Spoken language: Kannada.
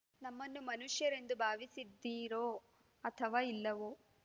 ನಮ್ಮನ್ನು ಮನುಷ್ಯರೆಂದು ಭಾವಿಸಿದ್ದೀರೋ ಅಥವಾ ಇಲ್ಲವೋ